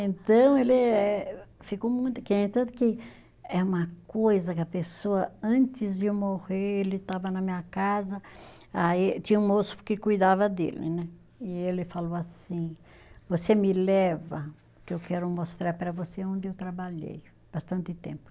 Então, ele é tanto que, é uma coisa que a pessoa, antes de morrer, ele estava na minha casa, aí tinha um moço que cuidava dele né, e ele falou assim, você me leva, que eu quero mostrar para você onde eu trabalhei, bastante tempo.